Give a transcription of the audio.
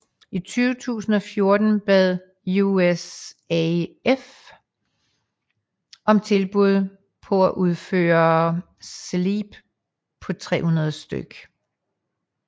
I 2014 bad USAF om tilbud på at udføre SLEP på 300 stk